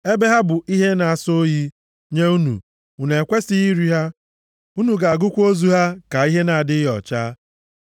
Ebe ha bụ ihe na-asọ oyi nye unu, unu ekwesighị iri ha, unu ga-agụkwa ozu ha ka ihe na-adịghị ọcha.